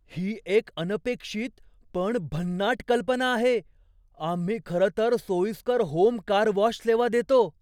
ही एक अनपेक्षित पण भन्नाट कल्पना आहे! आम्ही खरं तर सोयीस्कर होम कार वॉश सेवा देतो.